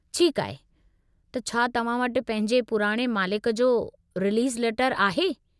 ठीकु आहे, त छा तव्हां वटि पंहिंजे पुराणे मालिक जो रिलीज़ लेटर आहे?